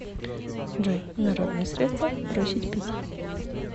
джой народные средства бросить пить